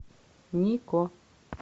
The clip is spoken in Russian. нико